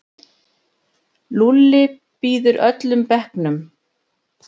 Lúlli býður öllum bekknum.